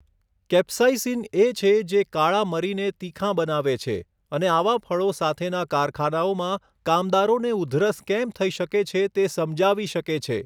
Capsaicin એ છે જે કાળા મરીને તીખાં બનાવે છે, અને આવાં ફળો સાથેના કારખાનાઓમાં કામદારોને ઉધરસ કેમ થઈ શકે છે તે સમજાવી શકે છે.